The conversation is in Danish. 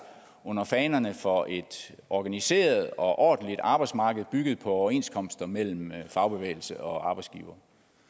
under fanerne for et organiseret og ordentligt arbejdsmarked bygget på overenskomster mellem fagbevægelse og arbejdsgivere